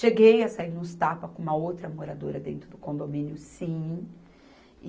Cheguei a sair nos tapas com uma outra moradora dentro do condomínio, sim.